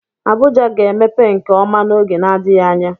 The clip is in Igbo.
Abuja ga-emepe nke ọma n'oge n'adịghị anya.